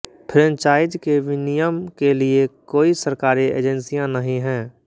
franchise के विनियमन के लिए कोई सरकारी एजेंसियां नहीं हैं